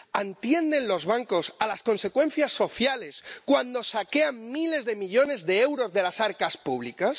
¿Atienden los bancos a las consecuencias sociales cuando saquean miles de millones de euros de las arcas públicas?